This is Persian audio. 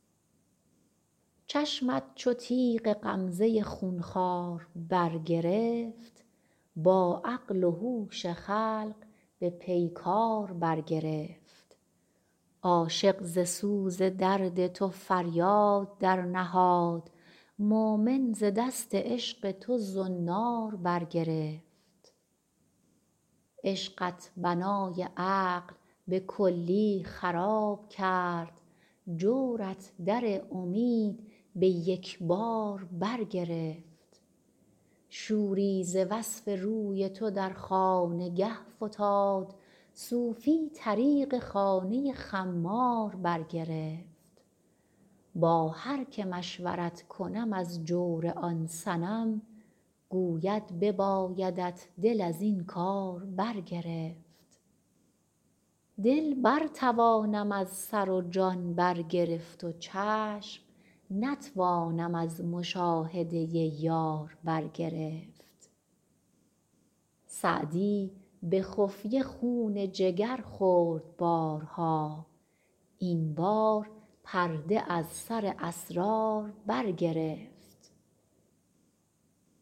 چشمت چو تیغ غمزه خون خوار برگرفت با عقل و هوش خلق به پیکار برگرفت عاشق ز سوز درد تو فریاد درنهاد مؤمن ز دست عشق تو زنار برگرفت عشقت بنای عقل به کلی خراب کرد جورت در امید به یک بار برگرفت شوری ز وصف روی تو در خانگه فتاد صوفی طریق خانه خمار برگرفت با هر که مشورت کنم از جور آن صنم گوید ببایدت دل از این کار برگرفت دل برتوانم از سر و جان برگرفت و چشم نتوانم از مشاهده یار برگرفت سعدی به خفیه خون جگر خورد بارها این بار پرده از سر اسرار برگرفت